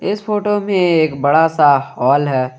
इस फोटो में एक बड़ा सा हाल है।